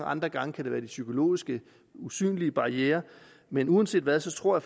andre gange kan det være de psykologiske usynlige barrierer men uanset hvad så tror